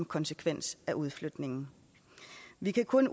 konsekvens af udflytningen vi kan kun